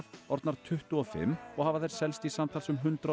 orðnar tuttugu og fimm og hafa þær selst í samtals um hundrað og